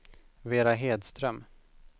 Vera Hedström